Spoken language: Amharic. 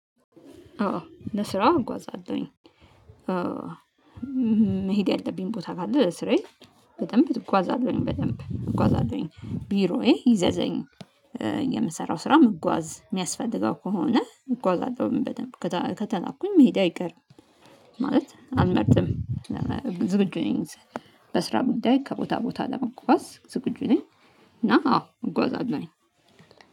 አዎ ለስራ እጓዛለሁኝ። መሄድ ያለብኝ ቦታ ካለ ለስራዬ በደንብ እጓዛለሁኝ በደንብ እጓዛለሁኝ ቢሮዬ ይዘዘኝ የምሰራው ስራ ምጓዝ የሚያስፈልገው ከሆነ እጓዛለሁ በደንብ ከተ ከተላኩኝ መሄዴ አይቀርም። ማለት አልመርጥም። ዝግጁ ነኝ። በስራ ጉዳይ ከቦታ ቦታ ለመጓዝ ዝግጁ ነኝ። እና አዎ እጓዛለሁኝ